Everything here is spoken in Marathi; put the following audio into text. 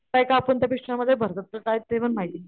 काय कापून त्या पिशव्यां मध्ये भरतात का काय ते पण माहित नाही,